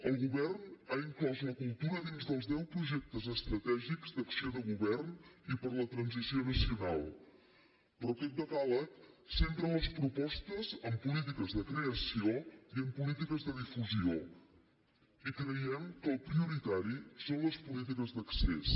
el govern ha inclòs la cultura dins dels deu projectes estratègics d’acció de govern i per a la transició nacional però aquest decàleg centra les propostes en polítiques de creació i en polítiques de difusió i creiem que el prioritari són les polítiques d’accés